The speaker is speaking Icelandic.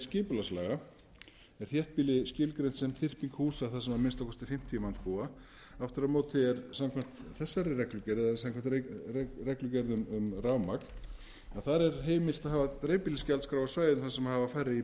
skipulagslaga er þéttbýli skilgreint sem þyrping húsa þar sem að minnsta kosti fimmtíu manns búa aftur á móti er samkvæmt þessari reglugerð eða samkvæmt reglugerð um rafmagn heimilt að hafa dreifbýlisgjaldskrá á svæðum sem hafa færri